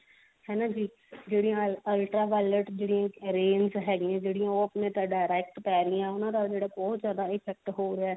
ਹਨਾ ਜੀ ਜਿਹੜੀਆਂ ultra violet rays ਹੈਗੀਆਂ ਉਹ direct ਪੈ ਰਹੀਆਂ ਉਹਨਾਂ ਦਾ ਜਿਹੜਾ ਬਹੁਤ ਜਿਆਦਾ effect ਹੋ ਰਿਹਾ